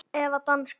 Eða danska.